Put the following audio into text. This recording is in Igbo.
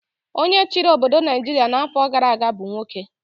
Onye chịrị obodo Naijiria n'afọ gara aga bụ nwoke.